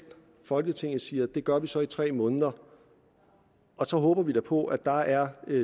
folketinget siger at det gør vi så i tre måneder så håber vi da på at der er